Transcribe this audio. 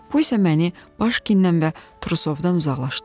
Bu isə məni Başkinlə və Trusovdan uzaqlaşdırırdı.